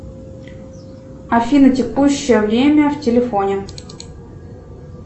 афина текущее время в телефоне